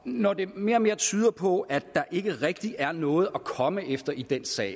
når det mere og mere tyder på at der ikke rigtig er noget at komme efter i den sag